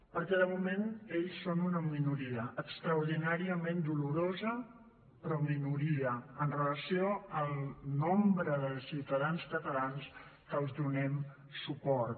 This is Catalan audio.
perquè de moment ells són una minoria extraordinàriament dolorosa però minoria en relació amb el nombre de ciutadans catalans que els donem suport